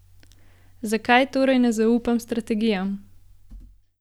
Zakaj torej ne zaupam strategijam?